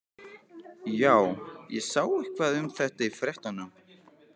Já, ég sá eitthvað um þetta í fréttunum.